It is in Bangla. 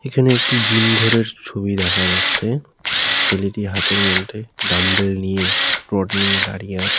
এখানে একটি জিম ঘর এর ছবি দেখা যাচ্ছে। ছেলেটি হাতের মধ্যে ডাম্বেল নিয়ে রড নিয়ে দাঁড়িয়ে আছে।